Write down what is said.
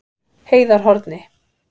Heiðarhorni